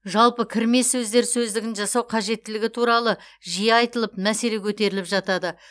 жалпы кірме сөздер сөздігін жасау қажеттілігі туралы жиі айтылып мәселе көтеріліп жатады